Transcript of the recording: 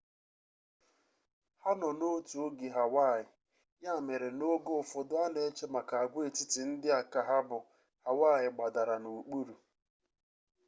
ha no n'otu oge ka hawaii ya mere na oge ufodu ana eche maka agwaetiti ndi a ka ha bu hawaii gbadara n'okpuru